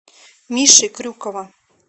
миши крюкова